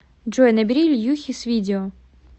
джой набери ильюхе с видео